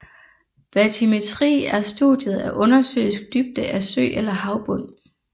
Batymetri er studiet af undersøisk dybde af sø eller havbund